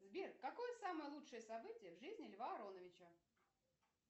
сбер какое самое лучшее событие в жизни льва ароновича